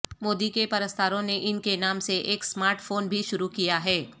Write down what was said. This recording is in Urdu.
مودی کے پرستاروں نے ان کے نام سے ایک سمارٹ فون بھی شروع کیا ہے